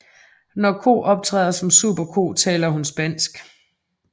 Når ko optræder som Superko taler hun spansk